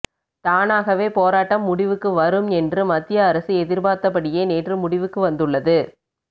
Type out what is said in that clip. தானாகவே போராட்டம் முடிவுக்கு வரும் என்று மத்திய அரசு எதிர்பார்த்தபடியே நேற்று முடிவுக்கு வந்துள்ளது